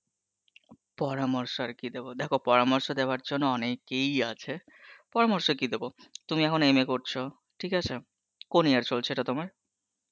পরামর্শ আর কি দেবো, দেখো পরামর্শ দেওয়ার জন্য অনেকেই আছে, পরামর্শ কি দেবো, তুমি এখন MA করছো ঠিক আছে, কোন year চলছে এটা তোমার?